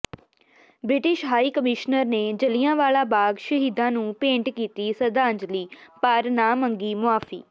British high commissioner ਨੇ ਜੱਲ੍ਹਿਆਂਵਾਲਾ ਬਾਗ਼ ਸ਼ਹੀਦਾਂ ਨੂੰ ਭੇਂਟ ਕੀਤੀ ਸ਼ਰਧਾਂਜਲੀ ਪਰ ਨਾ ਮੰਗੀ ਮੁਆਫ਼ੀ